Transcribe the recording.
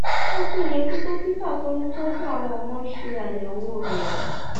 ó tún yẹ kí dókítà tó ń tọjú àwọn ọmọ ṣe àyẹwò rẹ